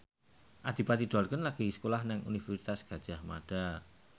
Adipati Dolken lagi sekolah nang Universitas Gadjah Mada